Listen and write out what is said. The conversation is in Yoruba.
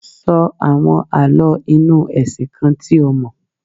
Sọ àwọn Àlọ́ inú ẹ̀sìn kan tí o mọ̀.